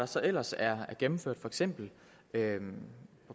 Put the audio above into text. så ellers er gennemført for eksempel af